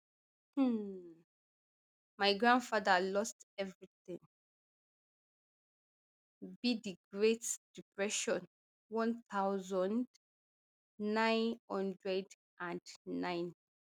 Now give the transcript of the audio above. um my grandfather lost everytin be di great depression one thousand, nine hundred and twenty-nine